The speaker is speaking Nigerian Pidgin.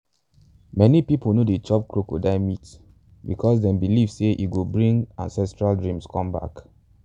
many people no dey chop crocodile meat because them believe say e go bring ancestral dreams come back.